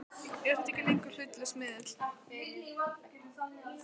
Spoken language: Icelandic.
Er þetta ekki lengur hlutlaus miðill?!?!